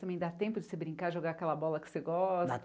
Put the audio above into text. Também dá tempo de você brincar, jogar aquela bola que você gosta?